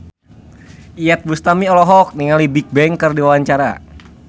Iyeth Bustami olohok ningali Bigbang keur diwawancara